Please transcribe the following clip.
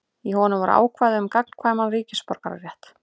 Í honum voru ákvæði um gagnkvæman ríkisborgararétt.